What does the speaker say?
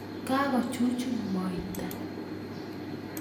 Kakochuchun moita